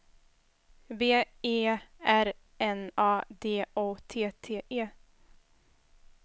B E R N A D O T T E